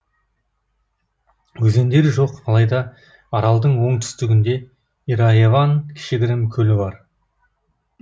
өзендер жоқ алайда аралдың оңтүстігінде ираэван кішігірім көлі бар